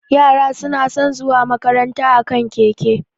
Yara suna san zuwa makaranta a kan keke